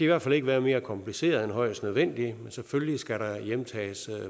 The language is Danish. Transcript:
hvert fald ikke være mere kompliceret end højst nødvendigt men selvfølgelig skal der hjemtages